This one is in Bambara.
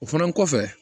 O fana kɔfɛ